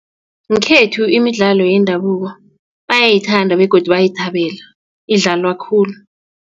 Ngekhethu imidlalo yendabuko bayayithanda begodu bayayithabela idlalwa khulu.